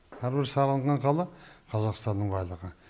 әрбір салынған қала қазақстанның байлығы